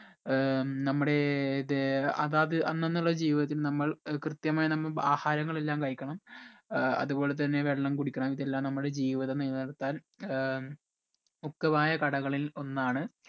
ഏർ നമ്മടെ ഇത് അതാത് അന്നന്നുള്ള ജീവിതത്തിൽ നമ്മൾ ഏർ കൃത്യമായി നമ്മ ആഹാരങ്ങൾ എല്ലാം കഴിക്കണം ഏർ അതുപോലെ തന്നെ വെള്ളം കുടിക്കണം ഇതെല്ലം നമ്മടെ ജീവിതം നില നിർത്താൻ ഏർ മുഖ്യമായ ഘട കളിൽ ഒന്നാണ്